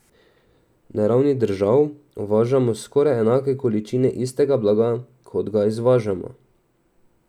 Na ravni držav uvažamo skoraj enake količine istega blaga, kot ga izvažamo.